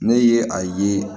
Ne ye a ye